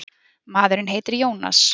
Maðurinn heitir Jónas.